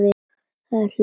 Það er hlegið.